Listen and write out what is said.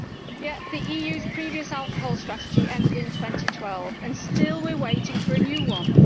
Yet the EU's previous alcohol strategy ended in 2012 and still we are waiting for a new one.